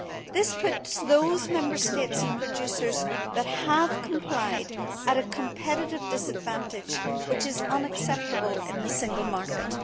This puts those Member States and producers that have complied at a competitive disadvantage, which is unacceptable in the single market.